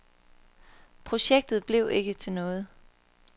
Projektet bliver ikke til noget.